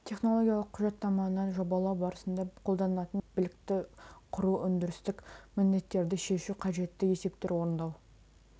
технологиялық құжаттаманы жобалау барысында қолданылатын дағды және білікті құру өндірістік міндеттерді шешу қажетті есептерді орындау